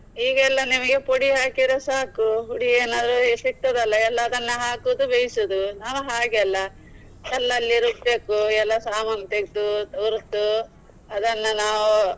ಈಗ ಎಲ್ಲಾ ನಿಮಿಗೆ ಪುಡಿ ಹಾಕಿದ್ರೆ ಸಾಕು, ಪುಡಿ ಏನಾದ್ರು ಸಿಕ್ತದಲ್ಲ ಎಲ್ಲಾ ಅದನ್ನು ಹಾಕುದು ಬೇಯಿಸುದು. ನಾವು ಹಾಗೆ ಅಲ್ಲ ಎಲ್ಲಾ ಅಲ್ಲಿ ರುಬ್ಬಬೇಕು ಎಲ್ಲಾ ಸಾಮಾನ್ ತೇಗ್ದು ಹುರ್ದು ಅದನ್ನ ನಾವು.